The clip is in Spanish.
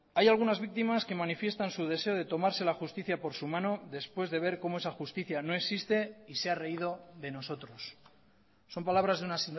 hay algunas víctimas que manifiestan su deseo de tomarse la justicia por su mano después de ver cómo esa justicia no existe y se ha reído de nosotros son palabras de una